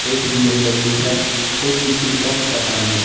एक बी_एम_डब्लू है और दूसरी का पता नही--